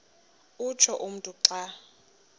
utsho umntu xa